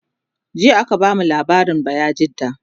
jiya aka bamu labarin bayajidda